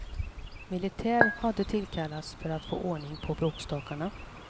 Militär hade tillkallats för att få ordning på bråkstakarna.